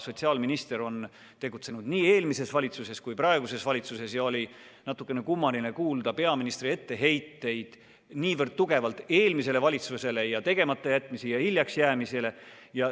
Sotsiaalminister on tegutsenud nii eelmises valitsuses kui ka praeguses valitsuses ja oli natukene kummaline kuulda peaministri etteheiteid eelmisele valitsusele tegematajätmiste ja hiljaksjäämise kohta.